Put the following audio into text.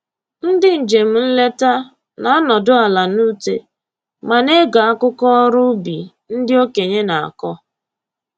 Ndị njem nleta na-anọdụ ala n'ute ma na-ege akụkọ ọrụ ubi ndị okenye na-akọ